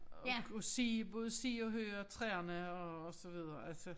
Og kunne se både se og høre træerne og og så videre altså